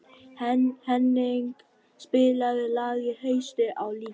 Henning, spilaðu lagið „Haustið á liti“.